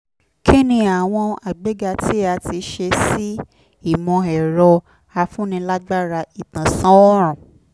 kí ni àwọn àgbéga tí a ti ṣe sí ìmọ̀-ẹ̀rọ-afúnilágbára ìtànsán òorùn?